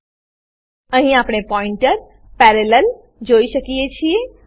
આપણે અહીં pointer pointer parallel જોઈ શકીએ છીએ